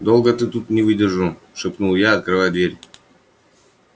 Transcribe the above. долго ты тут не выдержал шепнул я открывая дверь